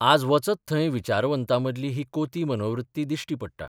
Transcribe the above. आज वचत थंय विचारवंतांमदली ही कोती मनोवृत्ती दिश्टी पडटा.